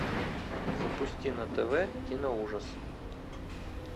запусти на тв киноужас